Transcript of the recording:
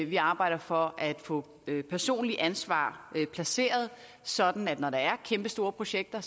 vi arbejder for at få personligt ansvar placeret sådan at når der er kæmpestore projekter